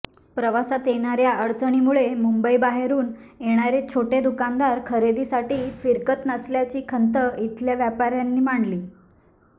प्रवासात येणाऱ्या अडचणींमुळे मुंबईबाहेरून येणारे छोटे दुकानदार खरेदीसाठी फिरकत नसल्याची खंत इथल्या व्यापाऱ्यांनी मांडली